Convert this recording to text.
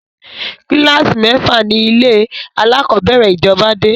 Kílàsì Mẹ́fà ni ilé alákọ̀bẹ́rẹ̀ ìjọba dé